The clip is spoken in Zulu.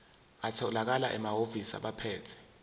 atholakala emahhovisi abaphethe